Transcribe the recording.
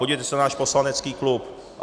Podívejte se na náš poslanecký klub.